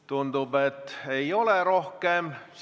Tundub, et ei ole rohkem.